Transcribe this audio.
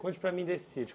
Conte para mim desse sítio.